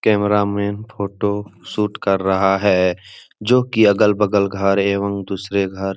camera में photo shoot कर रहा है जो की अगल-बगल घर है एवं दूसरे घर --